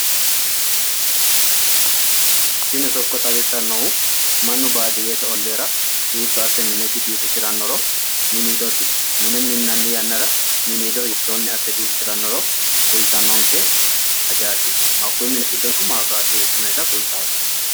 Tini sokko xawissannohu mannu baadiyyete olliira hiitto asse mine biifisirannoro miniidosi mine minnanni yannara miniido hiittoonni asse biifisirannoro kultannonke hakkuyi mini giddono maabirate eessinoyiite